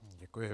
Děkuji.